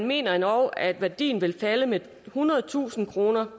mener at værdien vil falde med ethundredetusind kroner